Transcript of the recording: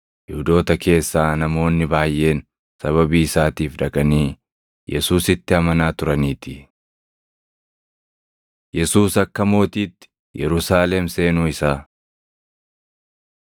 Yihuudoota keessaa namoonni baayʼeen sababii isaatiif dhaqanii Yesuusitti amanaa turaniitii. Yesuus Akka Mootiitti Yerusaalem Seenuu Isaa 12:12‑15 kwf – Mat 21:4‑9; Mar 11:7‑10; Luq 19:35‑38